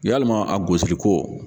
Yalima a gosiliko